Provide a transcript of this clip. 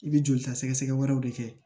I bɛ joli ta sɛgɛsɛgɛ wɛrɛw de kɛ